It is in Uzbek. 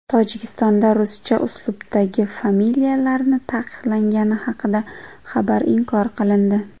Tojikistonda ruscha uslubdagi familiyalarning taqiqlangani haqidagi xabar inkor qilindi.